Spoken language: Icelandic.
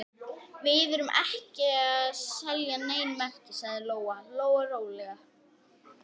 Við erum ekki að selja nein merki, sagði Lóa Lóa rólega.